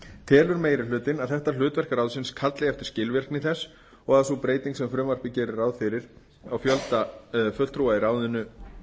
telur meiri hlutinn að þetta hlutverk ráðsins kalli eftir skilvirkni þess og að sú breyting sem frumvarpið gerir ráð fyrir á fjölda fulltrúa í ráðinu